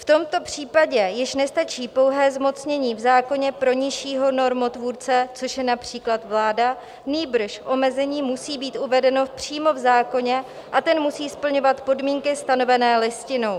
V tomto případě již nestačí pouhé zmocnění v zákoně pro nižšího normotvůrce, což je například vláda, nýbrž omezení musí být uvedeno přímo v zákoně a ten musí splňovat podmínky stanovené Listinou.